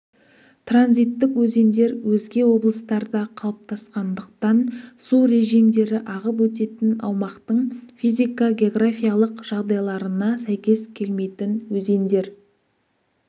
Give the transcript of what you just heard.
транзиттік өзендер өзге облыстарда қалыптасқандықтан су режимдері ағып өтетін аумақтың физика-географиялық жағдайларына сәйкес келмейтін өзендер